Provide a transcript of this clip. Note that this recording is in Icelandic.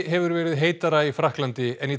hefur verið heitara í Frakklandi en